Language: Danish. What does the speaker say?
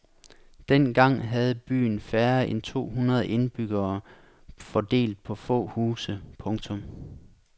Dengang havde byen færre end to hundrede indbyggere fordelt på få huse. punktum